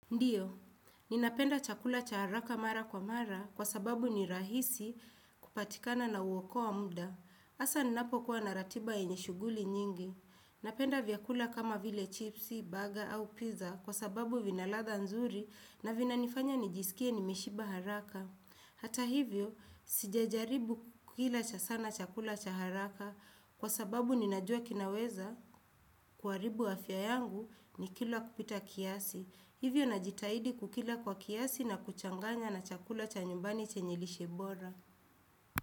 Ndiyo, ninapenda chakula cha haraka mara kwa mara kwa sababu ni rahisi kupatikana na huokoa muda. hAsa ninapo kuwa na ratiba yenye shuguli nyingi. Napenda vyakula kama vile chipsi, baga au pizza kwa sababu vina ladha nzuri na vinanifanya nijisikie nimeshiba haraka. Hata hivyo, sijajaribu kukila cha sana chakula cha haraka kwa sababu ninajua kinaweza kuharibu afya yangu nikila kupita kiasi. Hivyo nina jitahidi kukila kwa kiasi na kuchanganya na chakula cha nyumbani chenye lishe bora.